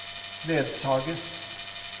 ledsages